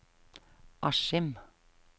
Askim